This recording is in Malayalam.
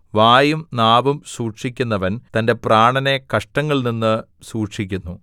വായും നാവും സൂക്ഷിക്കുന്നവൻ തന്റെ പ്രാണനെ കഷ്ടങ്ങളിൽനിന്ന് സൂക്ഷിക്കുന്നു